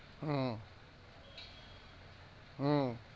হম হম